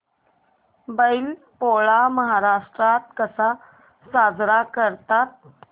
बैल पोळा महाराष्ट्रात कसा साजरा करतात